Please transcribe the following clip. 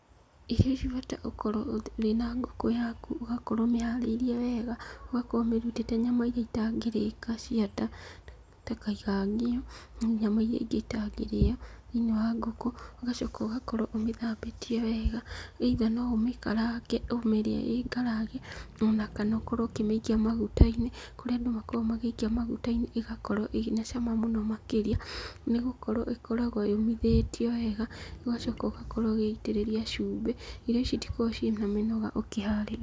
Irio ici ũbatie gũkorwo wĩ na ngũkũ yaku ũgakorwo ũmĩharĩirie wega. Ũgakorwo ũmĩrutĩte nyama iria itangĩrĩka cia nda ta kaigangio na nyama irĩa ingĩ itangĩrĩyo thĩiniĩ wa ngũkũ, ũgacoka ũgakorwo ũmĩthambĩtie wega, either no ũmĩkarange ũmĩrĩe ĩrĩ ngarange. Ona kana ũkorwo ũkĩmĩikia maguta-inĩ, kũrĩa andũ makoragwo makĩmĩikia maguta-inĩ ĩgakorwo ĩna cama mũno makĩria, nĩgũkorwo ĩkoragwo yũmithĩtio wega, ũgacoka ũgakorwo ũgĩitĩrĩria cumbĩ. Irio ici citikoragwo na mĩnoga gũkĩharĩria.